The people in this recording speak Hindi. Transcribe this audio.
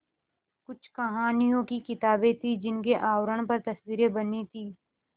कुछ कहानियों की किताबें थीं जिनके आवरण पर तस्वीरें बनी थीं